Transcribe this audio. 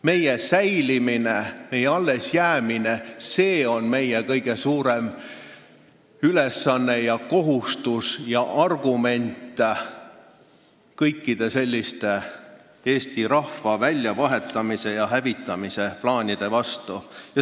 Meie säilimine ja allesjäämine on meie kõige suurem ülesanne ja kohustus ning argument kõikide selliste eesti rahva väljavahetamise ja hävitamise plaanide vastu.